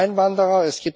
Es gibt Einwanderer.